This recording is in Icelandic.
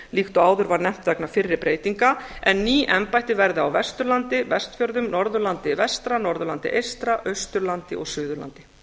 líkt og áður var nefnt vegna fyrri breytinga en ný embætti verða á vesturlandi vestfjörðum norðurlandi vestra norðurlandi eystra austurlandi og suðurlandi